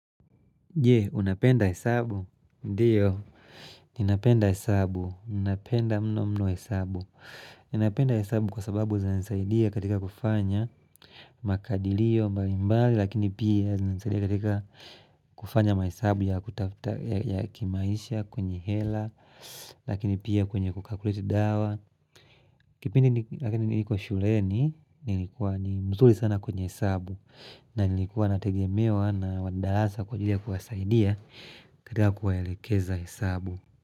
Je, unapenda hesabu? Ndiyo, ninapenda hesabu. Ninapenda mno mno hesabu. Ninapenda hesabu kwa sababu zinanizaidia katika kufanya makadilio mbali mbali, lakini pia zinanizaidia katika kufanya mahesabu ya kimaisha kwenye hela, lakini pia kwenye kukakuliti dawa. Kipindi lakini nilikuwa shuleni, nilikuwa ni mzuri sana kwenye hesabu. Na nilikuwa nategemewa na wanadarasa kwa ajili kuwazaidia kakika kuwaelekeza hesabu.